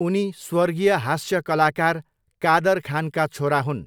उनी स्वर्गीय हास्य कलाकार कादर खानका छोरा हुन्।